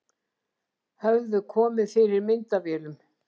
Höfðu komið fyrir myndavélum